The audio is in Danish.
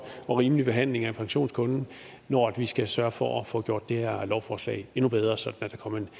og rimelig behandling af pensionskunden når vi skal sørge for at få gjort det her lovforslag endnu bedre sådan